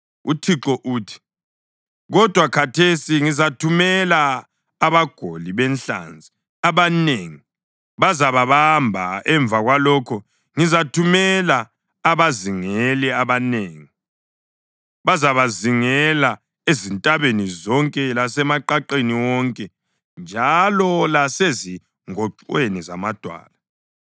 UThixo uthi, “Kodwa khathesi ngizathumela abagoli benhlanzi abanengi, bazababamba. Emva kwalokho ngizathumela abazingeli abanengi, bazabazingela ezintabeni zonke lasemaqaqeni wonke njalo lasezingoxweni zamadwala.